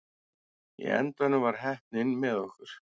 Í endanum var heppnin með okkur.